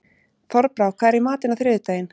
Þorbrá, hvað er í matinn á þriðjudaginn?